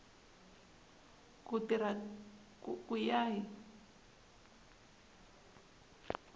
ku tirha ku ya hi